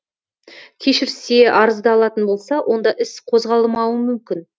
кешірсе арызды алатын болса онда іс қозғалмауы мүмкін